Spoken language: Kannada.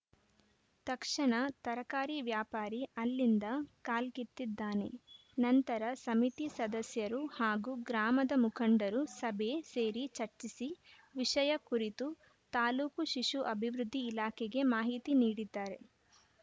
ತಕ್ಷಣ ತರಕಾರಿ ವ್ಯಾಪಾರಿ ಅಲ್ಲಿಂದ ಕಾಲ್ಕಿತ್ತಿದ್ದಾನೆ ನಂತರ ಸಮಿತಿ ಸದಸ್ಯರು ಹಾಗೂ ಗ್ರಾಮದ ಮುಖಂಡರು ಸಭೆ ಸೇರಿ ಚರ್ಚಿಸಿ ವಿಷಯ ಕುರಿತು ತಾಲೂಕು ಶಿಶು ಅಭಿವೃದ್ಧಿ ಇಲಾಖೆಗೆ ಮಾಹಿತಿ ನೀಡಿದ್ದಾರೆ